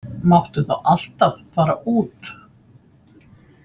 Máttu þá alltaf fara út?